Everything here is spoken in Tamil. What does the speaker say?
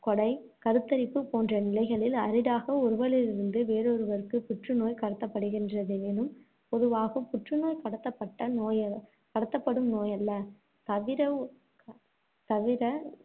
உடல் உறுப்புகள் கொடை, கருத்தரிப்பு போன்ற நிலைகளில் அரிதாக ஒருவரிலிருந்து வேறொருவருக்கு புற்றுநோய் கடத்தப்படுகின்றதெனினும், பொதுவாக புற்றுநோய் கடத்தப்பட்ட கடத்தப்படும் நோயல்ல. தவிர தவிர